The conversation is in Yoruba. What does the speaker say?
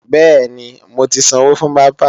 Bẹ́ẹ̀ni, mo ti sanwó fún bábà